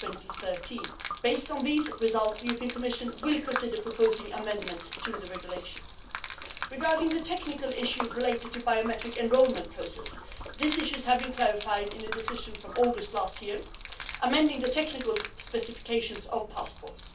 2013. Based on the final results of the study, the Commission will consider proposing amendments to the Regulation. Regarding the technical issues related to the biometric enrolment process, these issues have been clarified in a decision from August last year amending the technical specifications for passports.